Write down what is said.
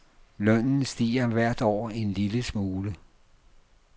Lønnen stiger hvert år en lille smule.